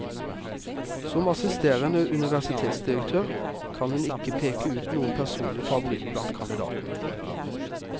Som assisterende universitetsdirektør kan hun ikke å peke ut noen personlig favoritt blant kandidatene.